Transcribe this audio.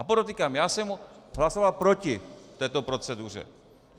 A podotýkám, já jsem hlasoval proti této proceduře.